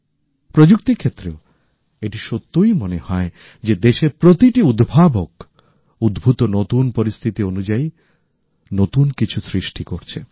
প্রযুক্তির ক্ষেত্রেও এটি সত্যই মনে হয় যে দেশের প্রতিটি উদ্ভাবক উদ্ভূত নতুন পরিস্থিতি অনুযায়ী নতুন কিছু সৃষ্টি করছে